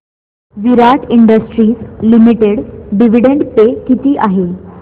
विराट industries limited dividend pay किती आहे